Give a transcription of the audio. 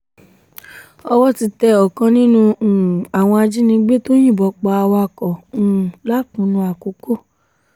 owó ti tẹ ọ̀kan nínú um àwọn ajínigbé tó yìnbọn pa awakọ̀ um lákùnnù àkókò